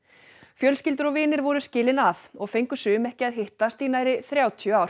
fjölskyldur og vinir voru skilin að og fengu sum ekki að hittast í nærri þrjátíu ár